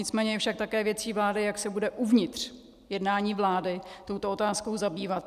Nicméně je však také věcí vlády, jak se bude uvnitř jednání vlády touto otázkou zabývat.